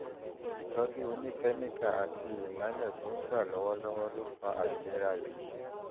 ìtọ́jú oníkẹ́míkà àti ìmọ́lẹ̀ tó ń gbà lọ́wọ́lọ́wọ́ ló fa àìlera yìí